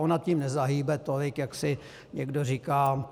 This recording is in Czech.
Ona tím nezahýbe tolik, jak si někdo říká.